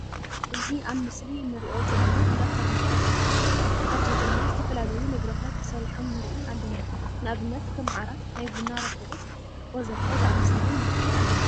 እዚ ኣብ ምስሊ እንሪኦ ዘለና እንዳፈርንቸር እንትከውን ኣብዚ ድማ ዝተፈላለዩ ንብረታት ተሰሪሖም ንርኢ ኣለና። ንኣብነት ከም ዓራት፣ ናይ ቡና ረኮቦት ወዘተ ዝኣምሰሉ ንርኢ ኣለና።